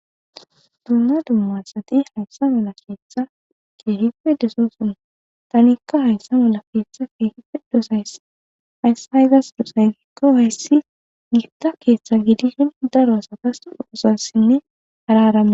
Duuma dumma sati hayssa mala keeththa keehi pe desoosona tanikka hayssa mala keeththa keehi pe dosays hayssa haygas dosay gikko hayssi giifta keeththa gidishin daro asatas doosassinne hararamma